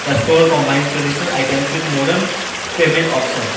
the store combines traditional items with modern payment option.